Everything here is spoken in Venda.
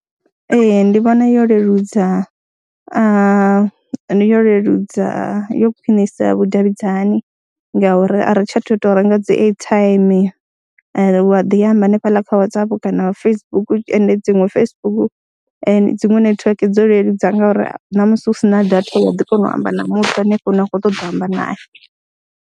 Ee, ndi vhona yo leludza yo leludza, yo khwinisa vhudavhidzani ngauri a ri tsha tou ita u renga dzi airtime wa ḓi amba hanefhaḽa kha Whatsapp kana Facebook and dziṅwe Facebook dziṅwe netiweke dzo leludza ngori na musi u si na data wa ḓi kona u amba na muthu hanefho hune wa khou ṱoḓa amba naye.